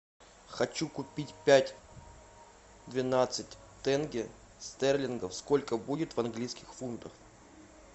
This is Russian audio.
хочу купить пять двенадцать тенге стерлингов сколько будет в английских фунтах